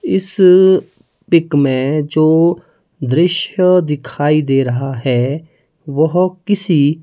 इस पिक में जो दृश्य दिखाई दे रहा है वह किसी--